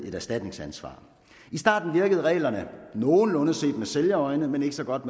et erstatningsansvar i starten virkede reglerne nogenlunde set med sælgers øjne men ikke så godt